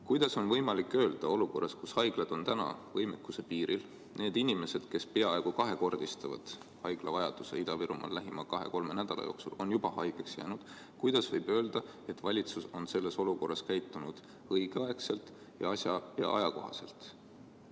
Kuidas on võimalik öelda olukorras, kus haiglad on võimekuse piiril ja need inimesed, kes peaaegu kahekordistavad haiglakohtade vajaduse Ida-Virumaal lähima kahe-kolme nädala jooksul, on juba haigeks jäänud, et valitsus on selles olukorras reageerinud õigeaegselt ning käitunud asja- ja ajakohaselt?